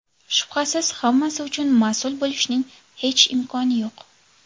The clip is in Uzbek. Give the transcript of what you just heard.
Shubhasiz, hammasi uchun mas’ul bo‘lishning hech imkoni yo‘q.